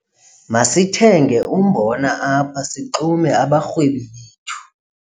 Masithenge umbona apha sixume abarhwebi bethu.